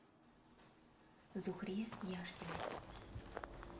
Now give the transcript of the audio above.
зухре яшкиной